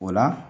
O la